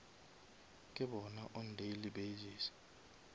ke bona on daily basis